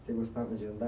Você gostava de andar?